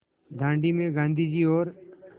दाँडी में गाँधी जी और